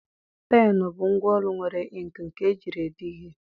Pennụ bụ ngwa ọlụ nwere inkịị nke ejiri ede ihe.